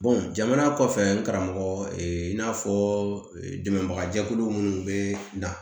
jamana kɔfɛ karamɔgɔ in n'a fɔ dɛmɛbaga jɛkulu minnu bɛ na